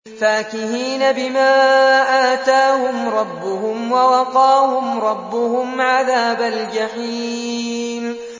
فَاكِهِينَ بِمَا آتَاهُمْ رَبُّهُمْ وَوَقَاهُمْ رَبُّهُمْ عَذَابَ الْجَحِيمِ